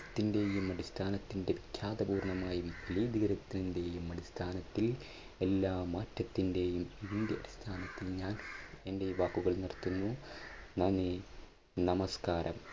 ത്തിന്റെയും അടിസ്ഥാനത്തിന്റെ വിഖ്യാതപൂർണമായ അടിസ്ഥാനത്തിൽ എല്ലാ മാറ്റത്തിന്റെയും ഇതിൻറെ അടിസ്ഥാനത്തിൽ ഞാൻ എൻറെ വാക്കുകൾ നിർത്തുന്നു നന്ദി! നമസ്കാരം!